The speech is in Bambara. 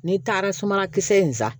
N'i taara sumakisɛ in san